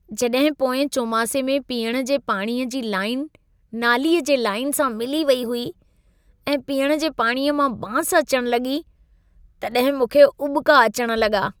जॾहिं पोएं चौमासे में पीअण जे पाणीअ जी लाइन नालीअ जे लाइन सां मिली वेई हुई ऐं पीअण जे पाणीअ मां बांस अचण लॻी, तॾहिं मूंखे उॿिका अचण लॻा।